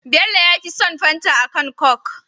Bello yafi son fanta akan coke